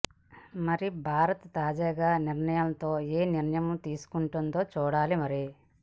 మరి భారత్ తాజా నిర్ణయంతో ఏ నిర్ణయం తీసుకుంటో చూడాలి మరి